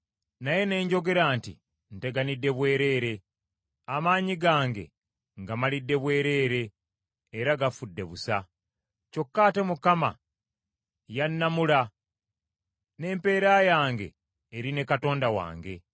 Naye ne njogera nti, “Nteganidde bwereere, amaanyi gange ng’amalidde bwereere era gafudde busa. Kyokka ate Mukama yannamula, n’empeera yange eri ne Katonda wange!”